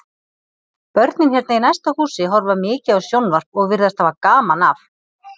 Börnin hérna í næsta húsi horfa mikið á sjónvarp og virðast hafa gaman af.